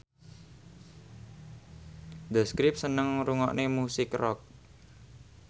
The Script seneng ngrungokne musik rock